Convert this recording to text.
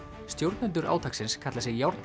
stjórnendur átaksins kalla sig